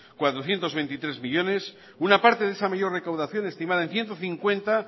cuatrocientos veintitrés millónes una parte de esa mayor recaudación estimada en ciento cincuenta